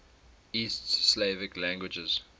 east slavic languages